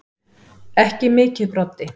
Ekki mikið Broddi.